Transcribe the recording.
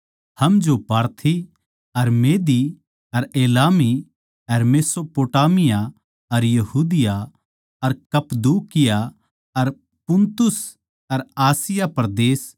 हम जो पारथी अर मेदी अर एलामी अर मेसोपोटामिया अर यहूदिया अर कप्‍पदूकिया अर पुन्तुस अर आसिया परदेस